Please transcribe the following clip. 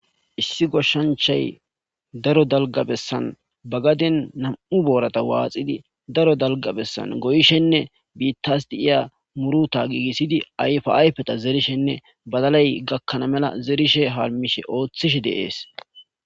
issi goshshanchay daro dalga bessan bagaden nam7u boorata waaxidi daro dalga bessan goyishenne biittas di iya muruta giigissidi ayfaayfeta zerishenne badalay gakkana mela zerishe halmishe ooththish deees